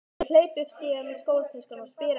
Ég hleyp upp stigann með skólatöskuna og spyr eftir